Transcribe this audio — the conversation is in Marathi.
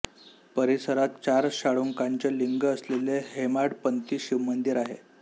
परिसरात चार शाळुंकांचे लिंग असलेले हेमाडपंती शिवमंदीर आहे